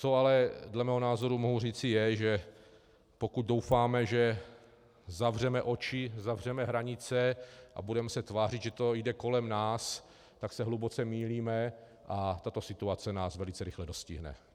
Co ale dle mého názoru mohu říci, je, že pokud doufáme, že zavřeme oči, zavřeme hranice a budeme se tvářit, že to jde kolem nás, tak se hluboce mýlíme a tato situace nás velice rychle dostihne.